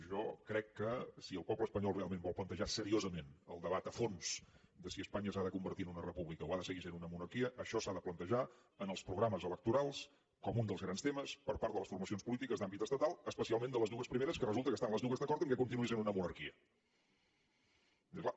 jo crec que si el poble espanyol realment vol plantejar seriosament el debat a fons de si espanya s’ha de convertir en una república o ha de seguir sent una monarquia això s’ha de plantejar en els programes electorals com un dels grans temes per part de les formacions polítiques d’àmbit estatal especialment de les dues primeres que resulta que estan les dues d’acord que continuï sent una monarquia perquè clar